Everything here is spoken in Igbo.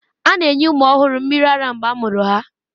A na-enye ụmụ ọhụrụ mmiri ara mgbe a mụrụ ha